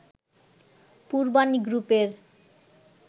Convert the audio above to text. পূর্বানী গ্রুপের